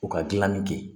U ka gilanni kɛ